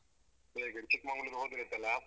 ಚಿಕ್ಮಂಗ್ಲೂರ್‌ ಹೋದ್ರೆ ಉಂಟಲ್ಲ.